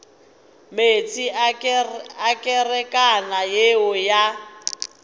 meetse a kerekana yeo ya